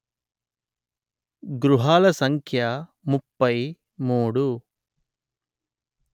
గృహాల సంఖ్య ముప్పై మూడు